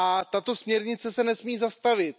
Tato směrnice se nesmí zastavit.